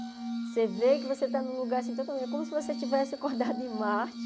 Você vê que você está num lugar assim, totalmen é como se você tivesse acordado em Marte.